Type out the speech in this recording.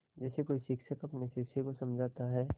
जैसे कोई शिक्षक अपने शिष्य को समझाता है